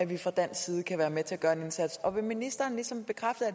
vi fra dansk side kunne være med til at gøre en indsats vil ministeren ligesom bekræfte at